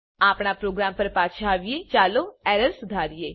આપણા પ્રોગ્રામ પર પાછા આવીએચાલો એરર સુધારીએ